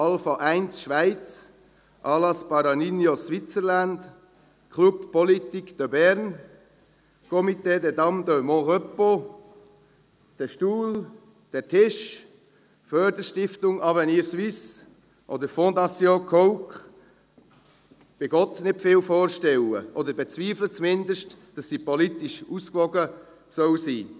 Dann kann ich mir unter «Alpha 1 Schweiz», «Alas para Niños Switzerland», «Club Politique de Berne», «Comité des dames de Mon Repos», «DER STUHL», «DER TISCH», «Förderstiftung Avenir Suisse» oder «Foundation Coke» bei Gott nicht viel vorstellen, oder bezweifle zumindest, dass diese Liste politisch ausgewogen sein soll.